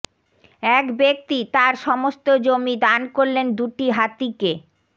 এক ব্যক্তি তাঁর সমস্ত জমি দান করলেন দুটি হাতিকে